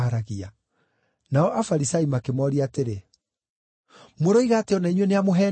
Nao Afarisai makĩmooria atĩrĩ, “Mũroiga atĩ o na inyuĩ nĩamũheenetie?